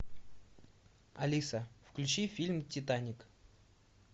алиса включи фильм титаник